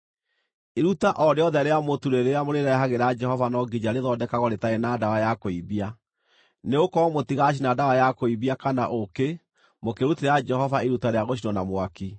“ ‘Iruta o rĩothe rĩa mũtu rĩrĩa mũrĩrehagĩra Jehova no nginya rĩthondekagwo rĩtarĩ na ndawa ya kũimbia, nĩgũkorwo mũtigaacina ndawa ya kũimbia kana ũũkĩ mũkĩrutĩra Jehova iruta rĩa gũcinwo na mwaki.